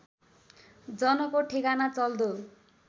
जनको ठेगाना चल्दो